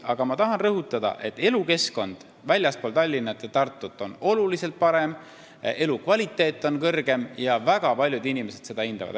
Aga ma tahan rõhutada, et elukeskkond väljaspool Tallinna ja Tartut on oluliselt parem, elukvaliteet on parem ja väga paljud inimesed seda hindavad.